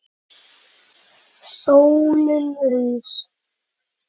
Sólin rís.